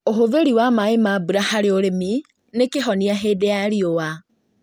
ũhũthĩri wa maĩ ma mbura harĩ ũrĩmi nĩ kĩhonia hĩndĩ ya riũa